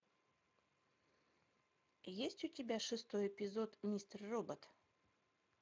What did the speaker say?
есть у тебя шестой эпизод мистер робот